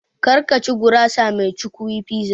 Kar ka ci gurasa mai cukwi (Pizza)!